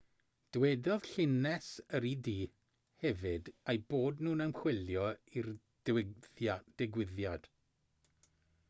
dywedodd llynges yr ud hefyd eu bod nhw'n ymchwilio i'r digwyddiad